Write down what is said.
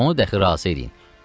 Onu dəxi razı eləyin.